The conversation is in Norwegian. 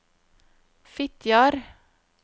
Fitjar